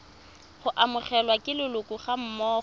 go amogelwa ke leloko gammogo